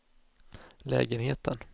lägenheten